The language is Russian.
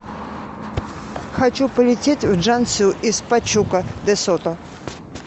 хочу полететь в чжанцю из пачука де сото